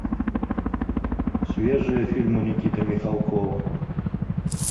свежие фильмы никиты михалкова